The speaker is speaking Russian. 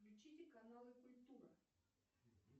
включите каналы культура